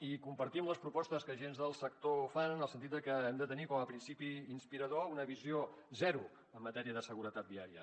i compartim les propostes que agents del sector fan en el sentit de que hem de tenir com a principi inspirador una visió zero en matèria de seguretat viària